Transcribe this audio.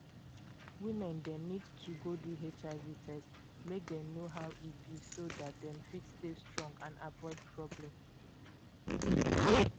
women dem need to go do hiv test make dem know how e be so dat dem fit dey strong and avoid problem